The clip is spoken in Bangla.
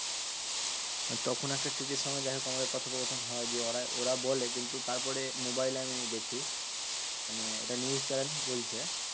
তখন একটা TTE র সামনে যাইহোক আমাদের কথোপকথন হয়, দিয়ে ওরাই ওরা বলে। কিন্তু তারপরে মোবাইলে আমি দেখি মানে একটা news channel বলছে